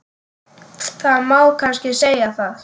Það má kannski segja það.